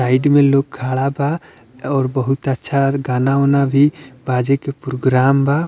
Site में लोग खड़ा बा और बहुत अच्छा गाना वाना भी बाजे के प्रोग्राम बा।